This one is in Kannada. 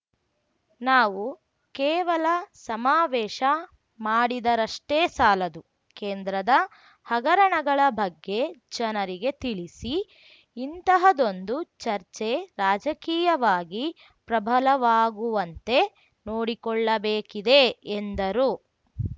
ನಾವು ಕೇವಲ ಸಮಾವೇಶ ಮಾಡಿದರಷ್ಟೇ ಸಾಲದು ಕೇಂದ್ರದ ಹಗರಣಗಳ ಬಗ್ಗೆ ಜನರಿಗೆ ತಿಳಿಸಿ ಇಂತಹದೊಂದು ಚರ್ಚೆ ರಾಜಕೀಯವಾಗಿ ಪ್ರಬಲವಾಗುವಂತೆ ನೋಡಿಕೊಳ್ಳಬೇಕಿದೆ ಎಂದರು